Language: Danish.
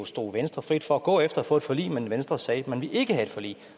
stod venstre frit for at gå efter at få et forlig men venstre sagde at man ikke ville have et forlig